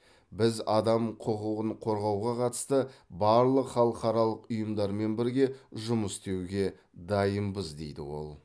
біз адам құқығын қорғауға қатысты барлық халықаралық ұйымдармен бірге жұмыс істеуге дайынбыз дейді ол